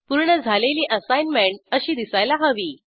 पूर्ण झालेली असाईनमेंट अशी दिसायला हवी